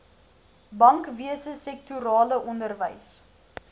bankwese sektorale onderwys